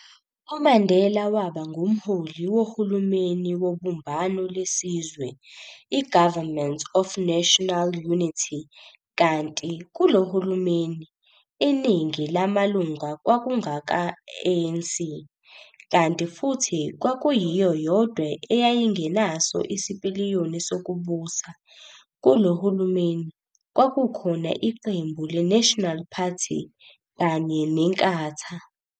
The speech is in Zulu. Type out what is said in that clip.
UMandela waba ngumholi wohulumeni wobumbano lesizwe i-Government of National Unity kanti kulohulumeni, iningi lamalunga kwakungaka-ANC - kanti futhi kwakuyiyo yodwa eyayingenaso isipiliyoni sokubusa - kulo hulumeni kwakukhona iqembu le-National Party kanye neNkatha.